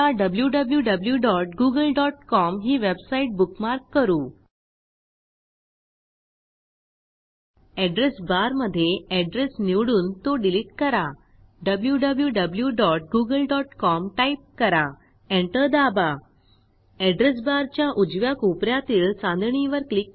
आता डब्ल्यूडब्ल्यूडब्ल्यूडब्ल्यूडब्यूडब्यूडब्यूडब्यूडब्यूडब्यूडब्यूडब्ल्यूडब्यूडब्यूडब्यूडब्यूडब्यूडब्यूडब्यूडब्यूडब्यूडब्ल्यूडब्ल्यूडब्यूडब्यूडब्ल्ल्यूडब्यूडब्यूडब्यूडब्यूडब्यूडब्यूडब्यूडब्यूडब्यूडब्यूडब dot Google dot com ही website bookmark करू